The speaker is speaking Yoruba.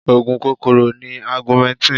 Oògùn kòkòrò ni augmentin.